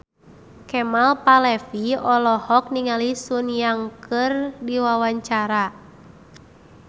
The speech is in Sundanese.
Kemal Palevi olohok ningali Sun Yang keur diwawancara